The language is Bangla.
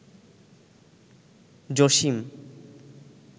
জসিম